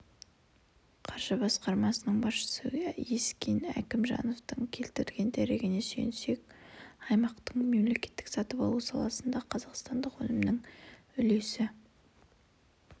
қаржы басқармасының басшысы ескен әкімжановтың келтірген дерегіне сүйенсек аймақтың мемлекеттік сатып алу саласындағы қазақстандық өнімнің үлесі